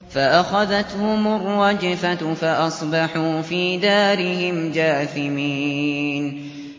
فَأَخَذَتْهُمُ الرَّجْفَةُ فَأَصْبَحُوا فِي دَارِهِمْ جَاثِمِينَ